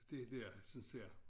Det dér synes jeg